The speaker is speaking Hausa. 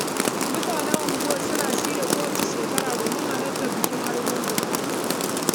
Mutanen unguwarmu suna shiryawa kowace shekara don halartar bikin Argungu.